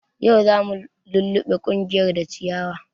Yau zamu luluɓe kunƴar da ciyawa